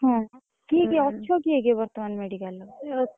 ହଁ କିଏ କିଏ ଅଛ କିଏ କିଏ ବର୍ତମାନ medical ରେ?